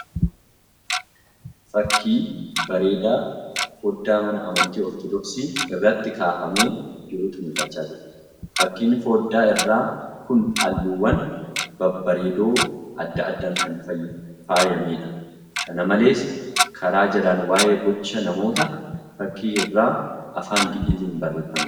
Fakkii bareedaa foddaa mana amantii Ortoodoksii irratti kaafamee jirutu mul'achaa jira. Fakkiin foddaa irraa kun halluuwwan babbareedoo adda addaan kan faayameedha. Kana malees, karaa jalaan waa'ee gocha namoota fakkii irraa afaan Gi'iiziin barreeffameera.